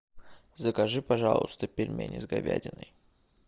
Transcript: закажи пожалуйста пельмени с говядиной